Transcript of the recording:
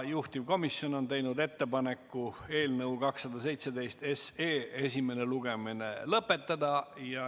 Juhtivkomisjon on teinud ettepaneku eelnõu 217 esimene lugemine lõpetada.